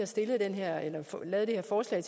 også i